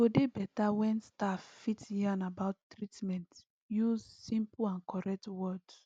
e go dey beta wen staff fit yarn about treatment use simple and correct words